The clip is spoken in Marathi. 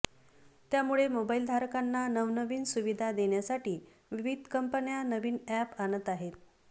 त्यामुळे मोबाइलधारकांना नवनवीन सुविधा देण्यासाठी विविध कंपन्या नवीन अॅप आणत असतात